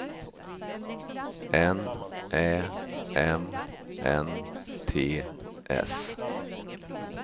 N Ä M N T S